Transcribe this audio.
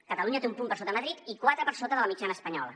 catalunya té un punt per sota de madrid i quatre per sota de la mitjana espanyola